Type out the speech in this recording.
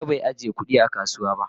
Na gan bai ajiya kudi a kasuwa.